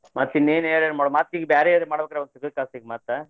ಮತ್ತ ಇನ್ನೇನ ಎನಾರಾ ಮತ್ತ ಈಗ ಬ್ಯಾರೆ ಎನಾರ ಮಾಡ್ಬೇಕ್ರಿ ಈಗ ಅದನ ತೆಗದ ಕಾಸ ಈಗ ಮತ್ತ.